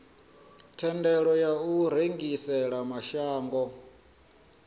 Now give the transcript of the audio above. thendelo ya u rengisela mashango